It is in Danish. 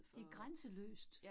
Det grænseløst